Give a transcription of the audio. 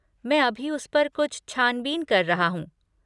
मैं अभी उस पर कुछ छान बीन कर रहा हूँ।